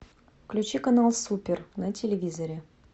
включи канал супер на телевизоре